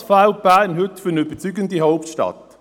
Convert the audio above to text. Was fehlt Bern heute zu einer überzeugenden Hauptstadt?